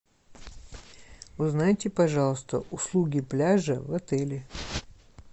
узнайте пожалуйста услуги пляжа в отеле